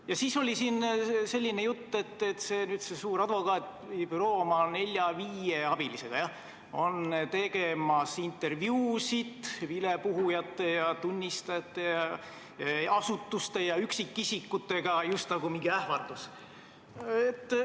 Ja siis oli siin veel selline jutt, et see suur advokaadibüroo oma nelja-viie abilisega on tegemas intervjuusid vilepuhujate ja tunnistajatega, asutuste ja üksikisikutega – just nagu mingisugune ähvardus.